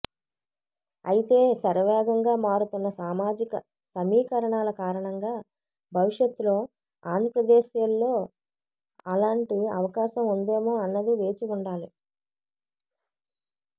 అయితే శరవేగంగా మారుతున్న సామాజిక సమీకరణాల కారణంగా భవిష్యత్తులో ఆంధ్రప్రదేశ్లో అలాంటి అవకాశం ఉందేమో అన్నది వేచి చూడాలి